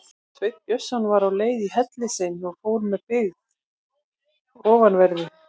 Sveinn Björnsson var á leið í helli sinn og fór með byggð ofanverðri.